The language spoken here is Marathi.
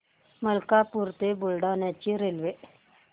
मलकापूर ते बुलढाणा ची रेल्वे